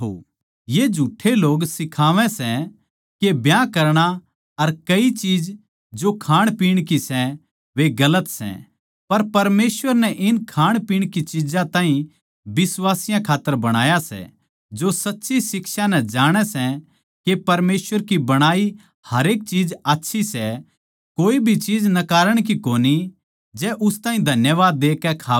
ये झुठ्ठे लोग सिखावै सै के ब्याह करणा अर कई चीज जो खाणपीण की सै वे गलत सै पर परमेसवर नै इन खाणपीण की चिज्जां ताहीं बिश्वासियाँ खात्तर बणाया सै जो सच्ची शिक्षायाँ ताहीं जाणै सै के परमेसवर की बणाई हरेक चीज आच्छी सै कोए भी चीज नकारन की कोनी जै उस ताहीं धन्यवाद देके खावै